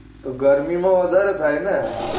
તો ગરમી માં વધારે થાય ને